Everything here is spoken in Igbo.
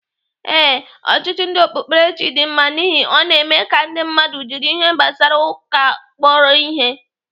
Ee, ọchịchị ndị okpukperechi dị mma n'ihi ọ na-eme ka ndị mmadụ jiri ihe gbasara ụka kpọrọ ihe.